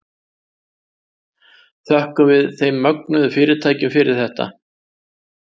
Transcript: Þökkum við þeim mögnuðu fyrirtækjum fyrir þetta.